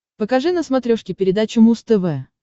покажи на смотрешке передачу муз тв